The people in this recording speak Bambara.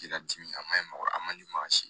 Ji ladi a man ɲi mɔgɔ a man di maa si ma